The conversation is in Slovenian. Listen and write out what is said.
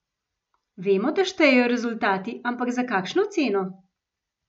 Vemo, da štejejo rezultati, ampak za kakšno ceno?